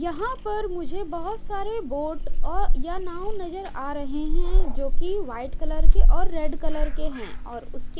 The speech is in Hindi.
यहां पर मुझे बहोत सारे बोट औ या नाव नजर आ रहे हैं जो कि वाइट कलर के और रेड कलर के हैं और उसके--